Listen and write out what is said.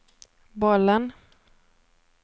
bollen